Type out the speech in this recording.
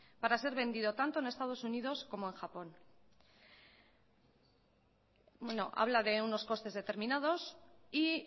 para ser vendido tanto en estados unidos como en japón bueno habla de unos costes determinados y